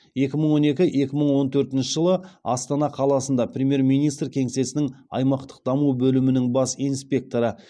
екі мың он екі екі мың он төртінші жылы астана қаласында премьер министр кеңсесінің аймақтық даму бөлімінің бас инспекторы